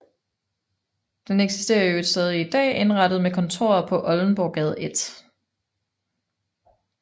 Den eksisterer i øvrigt stadig i dag indrettet med kontorer på Oldenborggade 1